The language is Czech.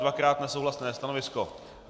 Dvakrát nesouhlasné stanovisko.